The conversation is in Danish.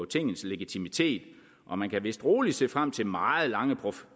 tingets legitimitet og man kan vist roligt se frem til meget lange